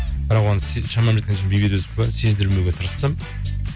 бірақ оған шамам жеткенше сездірмеуге тырыстым